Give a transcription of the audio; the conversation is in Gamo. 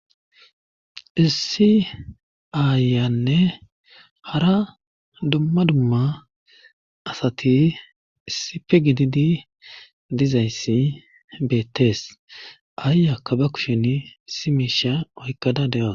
Issi aayanne hara dumma dumma asati issipe gididi dizayssi beettees aayakka ba kushen issi miisha oykkada de7a.